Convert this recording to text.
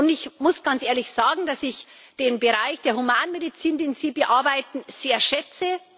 Ich muss ganz ehrlich sagen, dass ich den Bereich der Humanmedizin, den Sie bearbeiten, sehr schätze.